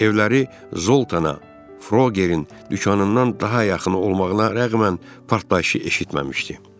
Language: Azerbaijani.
Evləri Zoltana Frogerin dükanından daha yaxın olmasına rəğmən partlayışı eşitməmişdi.